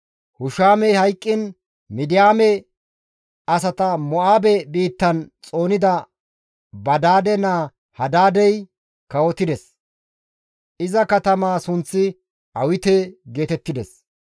Hushamey hayqqiin Midiyaame asata Mo7aabe biittan xoonida Badaade naa Hadaadey, kawotides; iza katamaa sunththi Awite geetettides.